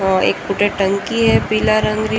एक पुट टंकी है पीला रंग री।